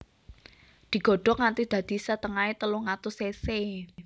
Digodhog nganti dadi setengahé telung atus cc